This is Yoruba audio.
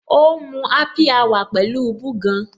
O ń mu happy hour pẹ̀lú búgan.